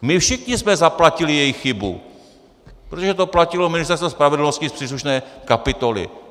My všichni jsme zaplatili jejich chybu, protože to platilo Ministerstvo spravedlnosti z příslušné kapitoly.